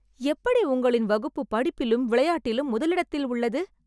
எப்படி உங்களின் வகுப்பு படிப்பிலும் விளையாட்டிலும் முதலிடத்தில் உள்ளது